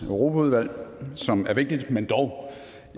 europaudvalg som er vigtigt men dog